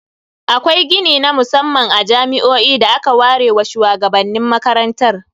Akwai gini na musamman a jami'o'i da aka ware wa shuwagabannin makarantar.